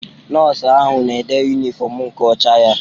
Nọọsụ ahụ na-ede yunifọmu nke ọcha ya.